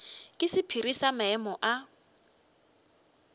ke sephiri sa maemo a